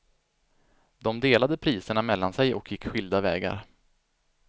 De delade priserna mellan sig och gick skilda vägar.